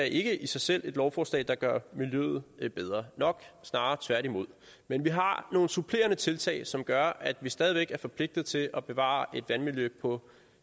ikke i sig selv er et lovforslag der gør miljøet bedre nok snarere tværtimod men vi har nogle supplerende tiltag som gør at vi stadig væk er forpligtet til at bevare et vandmiljø på